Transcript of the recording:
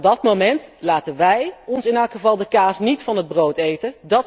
Maar tot dat moment laten wij ons in elk geval de kaas niet van het brood eten.